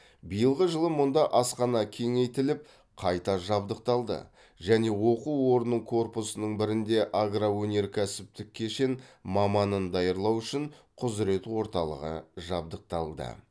биылғы жылы мұнда асхана кеңейтіліп қайта жабдықталды және оқу орнының корпусының бірінде агроөнеркәсіптік кешен маманын даярлау үшін құзырет орталығы жабдықталды